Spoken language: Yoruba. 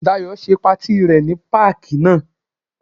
Dayọ̀ ṣe patí rẹ ní páàkì náà.